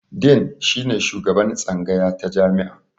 Din shine shugaban tsangaya ta jami'a.